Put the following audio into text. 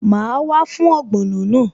Màá wá fún ogbono náà